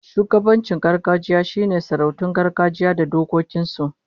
Shugabancin gargajiya shine sarautun gargajiya da dokokin su